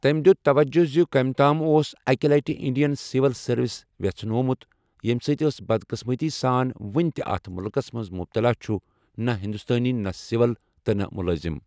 تٔمۍ دِیُت تَوَجہ زِ کٔمۍ تام اوس أکہِ لٹہِ انڈین سِول سروس وژھناومُت، 'یٔمہِ سۭتۍ أس بَدقٕسمٕتی سان وُنہِ تہِ اتھ مُلکسَ منٛز مُبتَلا چھُ، نہ ہندوسٲنی، نہ سول، تہٕ نہ مُلٲزِم'۔